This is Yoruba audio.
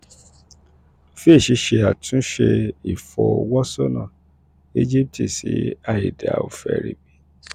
fitch ṣe àtúnṣe ìfojúsọ́nà íjíbítì sí àìdáa; ó fẹ̀rí